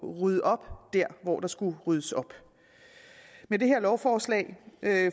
ryddet op der hvor der skulle ryddes op med det her lovforslag